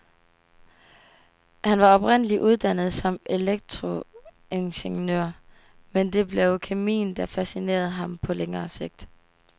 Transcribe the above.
Han var oprindelig uddannet som elektroingeniør, men det blev kemien, der fascinerede ham på længere sigt.